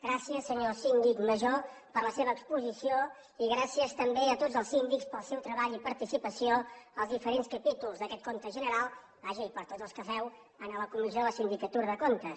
gràcies senyor síndic major per la seva exposició i gràcies també a tots els síndics pel seu treball i participació als diferents capítols d’aquest compte general vaja i per tots els que feu a la comissió de la sindicatura de comptes